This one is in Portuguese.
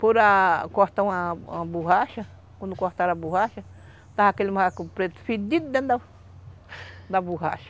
Por a cortar uma uma borracha, quando cortaram a borracha, estava aquele macaco preto fedido dentro da da borracha.